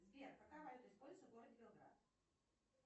сбер какая валюта используется в городе белград